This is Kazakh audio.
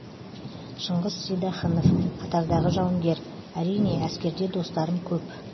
шыңғыс сейдахынов қатардағы жауынгер әрине әскерде достарым көп